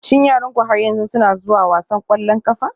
Shin yaranku har yanzu suna zuwa wasan ƙwallon ƙafa?